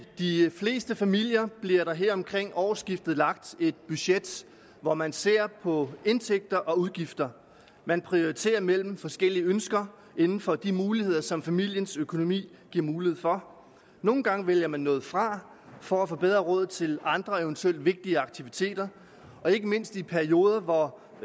de fleste familier bliver der her omkring årsskiftet lagt et budget hvor man ser på indtægter og udgifter man prioriterer mellem forskellige ønsker inden for de muligheder som familiens økonomi giver mulighed for nogle gange vælger man noget fra for at få bedre råd til andre eventuelt vigtigere aktiviteter og ikke mindst i perioder hvor